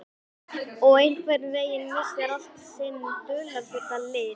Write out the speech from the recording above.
Og einhvern veginn missir allt sinn dularfulla lit.